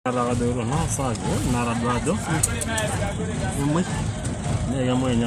ore enchumata enkare naa enetipat tenkiremore nabukokini enkare.